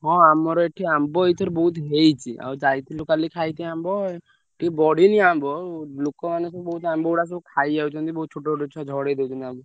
ହଁ ଆମର ଏଠି ଆମ୍ବ ଏଇଥର ବହୁତ ହେଇଛି ଆଉ ଯାଇଥିଲୁ କାଲି ଖାଇତେ ଆମ୍ବ ଟିକେ ବଢିନି ଆମ୍ବ ଲୋକମାନେ ସବୁ ବହୁତ ଆମ୍ବଗୁଡା ସବୁ ଖାଇଯାଉଛନ୍ତି ବହୁତ ଛୋଟ ଛୋଟ ଛୁଆ ଝଡେଇ ଦଉଛନ୍ତି ଆମ୍ବ।